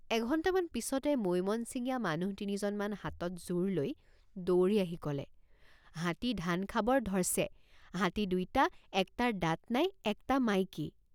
এঘণ্টামান পিচতে মৈমনচিঙীয়া মানুহ তিনিজনমান হাতত জোৰ লৈ দৌৰি আহি কলেহাতী ধান খাবাৰ ধৰ্ ছে হাতী দুইটা একটাৰ দাঁত নাই একটা মাইকী।